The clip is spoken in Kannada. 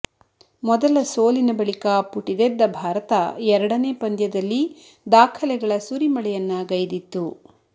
ಮೊದಲ ಸೋಲಿನ ಬಳಿಕ ಪುಟಿದೆದ್ದ ಭಾರತ ಎರಡನೇ ಪಂದ್ಯದಲ್ಲಿ ದಾಖಲೆಗಳ ಸುರಿಮಳೆಯನ್ನ ಗೈದಿತ್ತು